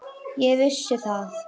Ég vissi það.